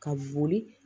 Ka boli